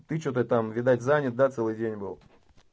ты что ты там видать занят да целый день был